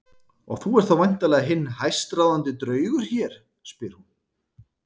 Og þú ert þá væntanlega hinn hæstráðandi draugur hér, spyr hún.